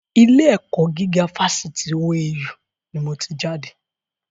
Ilé ẹ̀kọ́ gíga fásitì OAU ni mo ti jáde